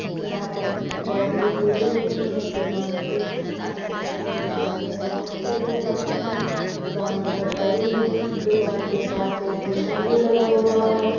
यहाँ पर बहुत सी भीड़े होती हैं दुकान से सामान लेने के लिए बहुत से लोग आते हैं दुकान बहोत बड़ी है दुकान के पास एक झंडा भी लगा हुआ है।